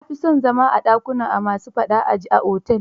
Na fi son zama a dakunan a ma su faɗa a ji a otel.